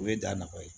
O ye da na ye